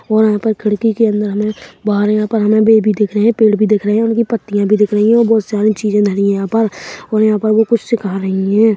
और यहाँ पर खिड़की के अंदर हमें बाहर यहाँ पर हमें बे भी दिख रहे है पेड़ भी दिख रहे है उनकी पत्तियाँ भी दिख रही है और बहोत सारी चीजें धरी है यहाँ पर और यहाँ पर वो कुछ सिखा रही हैं।